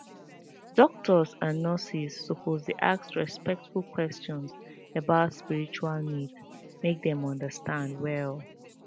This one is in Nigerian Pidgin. doctors and nurses suppose dey ask respectful questions about spiritual needs make dem understand well